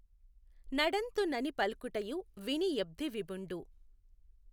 నడఁతు నని పల్కుటయు విని యబ్ధివిభుఁడు